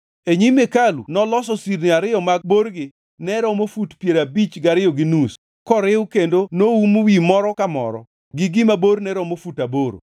E nyim hekalu noloso sirni ariyo ma borgi ne romo fut piero abich gariyo gi nus koriw kendo noum wi moro ka moro gi gima borne romo fut aboro.